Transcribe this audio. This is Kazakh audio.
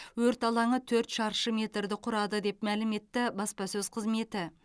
өрт алаңы төрт шаршы метрді құрады деп мәлім етті баспасөз қызметі